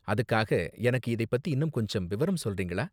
அதுக்காக எனக்கு இதை பத்தி இன்னும் கொஞ்சம் விவரம் சொல்றீங்களா?